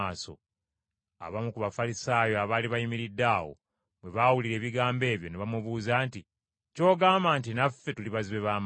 Abamu ku Bafalisaayo abaali bayimiridde awo bwe baawulira ebigambo ebyo ne bamubuuza nti, “Ky’ogamba nti naffe tuli bazibe ba maaso?”